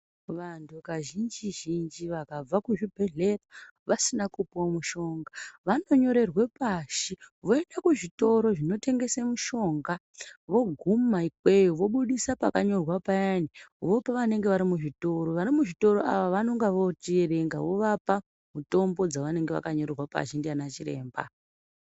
Vanhu kazhinji-zhinji vakabva kuzvibhedhlera vasina kupiwa mushonga vanonyorerwa pashi, voenda kuzvitoro zvinotengese mishonga. Voguma ikweyo vobudisa pakanyorwa payani, vopa vanenge vari muzvitoro. Vari muzvitoro vaya vanenge vochierenga mitombo dzakanyorwa vovapa zvakanyorwa pashi ndianachiremba.